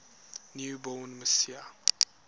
new born messiah